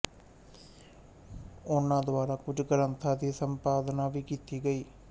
ਉਨ੍ਹਾਂ ਦੁਆਰਾ ਕੁਝ ਗ੍ਰੰਥਾਂ ਦੀ ਸੰਪਾਦਨਾ ਵੀ ਕੀਤੀ ਗਈ